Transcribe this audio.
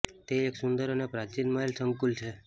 તે એક સુંદર અને પ્રાચીન મહેલ સંકુલ છે